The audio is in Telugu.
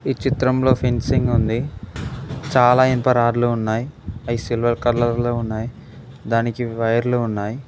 ఈ చిత్రంలో ఫెన్సింగ్ ఉంది చాలా ఇనుప రాడ్లు ఉన్నాయి అవి సిల్వర్ కలర్ లో ఉన్నాయి దానికి వైర్లు ఉన్నాయి.